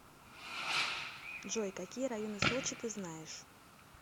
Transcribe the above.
джой какие районы сочи ты знаешь